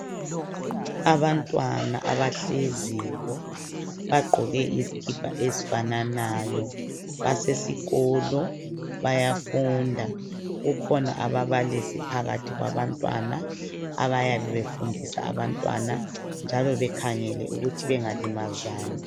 Abantwana abahleziyo bagqoke izikipa ezifananayo basesikolo bayafunda. Kukhona ababalisi phakathi kwabantwana abayabe befundisa abantwana njalo bekhangele ukuthi bengalimazani.